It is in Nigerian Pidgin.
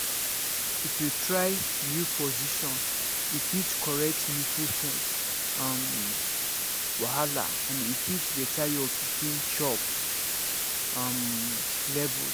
if you try new position e fit correct nipple pain um wahala and e fit better your pikin chop um levels